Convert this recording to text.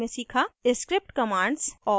* script commands और